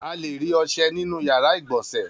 A le rí ọṣẹ nínú ìyàrá-ìgbọ̀nsẹ̀.